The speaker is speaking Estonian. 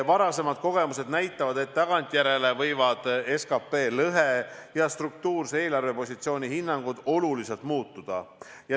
Varasemad kogemused näitavad, et tagantjärele võivad SKP lõhe ja struktuurse eelarvepositsiooni hinnangud oluliselt muutuda.